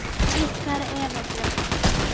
Og þær hlæja.